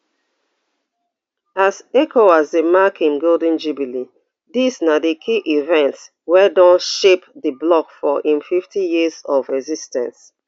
as ecowas dey mark im golden jubilee dis na di key events wey don shape di bloc for im fiftyyears of exis ten ce